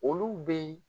Olu bɛ